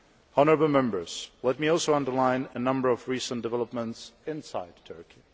Honourable Members, let me also underline a number of recent developments inside Turkey.